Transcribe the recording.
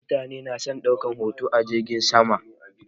Mutane na son ɗaukar hoto a jirgin sama.